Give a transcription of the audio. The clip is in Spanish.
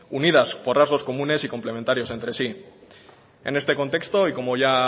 unidas por rasgos comunes y complementario entre sí en este contexto y como ya